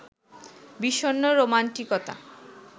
বিষণ্ন রোমান্টিকতা